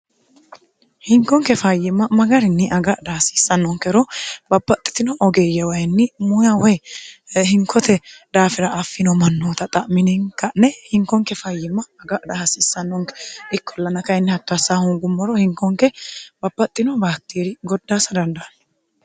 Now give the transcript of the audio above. hinkonke fayyimma magarinni agadha hasiissannonkero bapaxxitino ogeeyye wayinni muuya woy hinkote daafira affino mannoota xa'mininka'ne hinkonke fayyimma agadha hasiissannonke ikkolln kyinni htto ass hungummoro hinkonke bapaxxino baaktieri goddaassa dandaanno